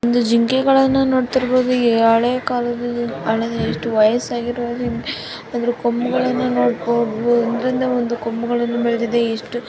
ಒಂದು ಜಿಂಕೆಗಳನ್ನು ನೋಡುತ್ತಿರಬಹುದು ಹಳೆ ಕಾಲದ್ದು ಎಷ್ಟು ವಯಸ್ಸಾಗಿರೋದು ಅದರ ಕೊಂಬುಗಳನ್ನು ನೋಡಬಹುದು ಒಂದ್ರಿಂದ ಒಂದು ಕೊಂಬುಗಳು ಬೆಳೆದಿವೆ.